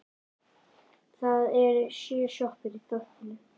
Það eru sjö sjoppur í þorpinu!